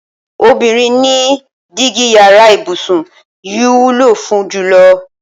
Obìnrin ni dígí yara ìbùsùn yìí wúlò fún jùlo̩.